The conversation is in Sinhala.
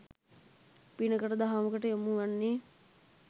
පිනකට දහමකට යොමු වන්නේ